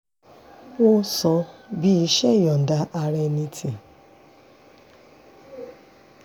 ó sọ bí iṣẹ́ ìyọ̀ǹda ara ẹni tí